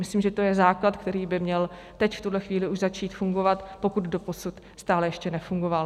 Myslím, že to je základ, který by měl teď v tuhle chvíli už začít fungovat, pokud doposud stále ještě nefungoval.